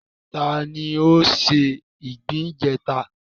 Ta ni ó se ìgbín ìjẹta?